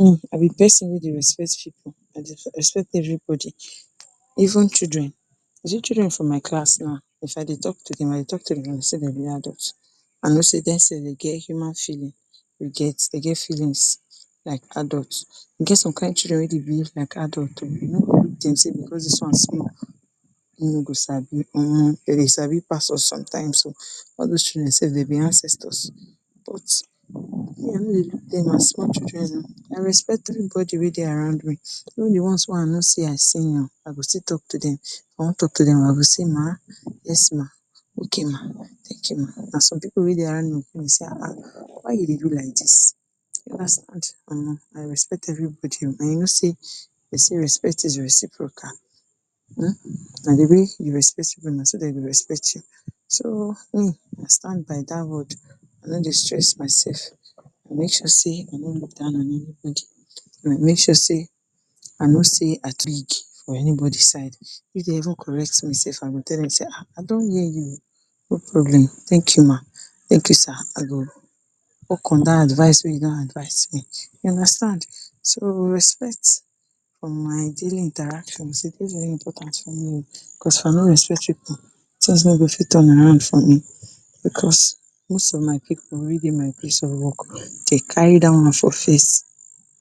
um I be pesin wey dey respect pipu, I dey respect everybody even children you see children for my class now if I dey talk to them I dey talk to dem like sey dem be adult I know sey dem self dem get human feeling you get dem get feelings like adult. E get some kain children wey dey behave like adult o you no look dey sey because dis one small make dem go side, um dem dey sabi pass us sometimes o, all dose children dem be ancestors but me I no dey look dem as small children, I respect everybody wey dey around me. even di one s wey I know sey I senior I go still talk to dem if I wan talk to dem I go say ma, yes ma, okay ma, thank you ma and some pipu wey dey around me go sey um why you dey do like dis omo I respect everybody o and you know sey dem sey respect is reciprocal um na di way you respect pipu na so dem go respect you so me I stand by dat word I no dey stress myself I dey make sure sey I no look down on anybody, I dey make sure sey I know sey I big for anybody side. If dem even correct me self I go tell dem sey um I don hear you, no problem, thank you ma, thank you sir, I go work on dat advise wey you give me, you understand so respect for my daily interaction e dey very important for me o because if I no respect pipu tins no go fit turn around for me because most of my pipu wey dey my place of work dey carry dat one for face